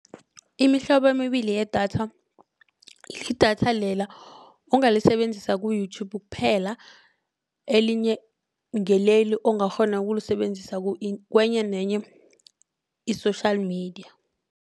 Imihlobo emibili yedatha lidatha lela ongalisebenzisa ku-youtube kuphela elinye ngileli ongakghona ukulisebenzisa kwenye nenye i-social media.